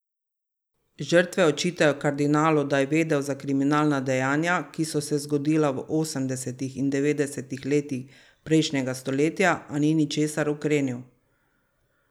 Žrtve očitajo kardinalu, da je vedel za kriminalna dejanja, ki so se zgodila v osemdesetih in devetdesetih letih prejšnjega stoletja, a ni ničesar ukrenil.